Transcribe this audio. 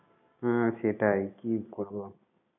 হ্যাঁ সেটাই। কী করব?